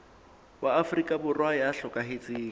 wa afrika borwa ya hlokahetseng